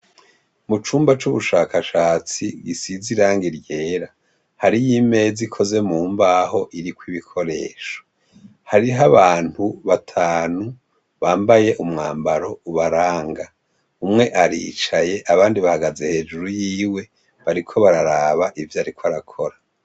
Mu cumba c'ubushakashatsi gisize irangi ryera, hariyo imeza ikoze mu mbaho iriko ibikoresho. Hariho abantu batanu bambaye umwambaro ubaranga. Umwe aricaye abandi bahagaze hejuru yiwe, bariko bararaba ivyo ariko arakora.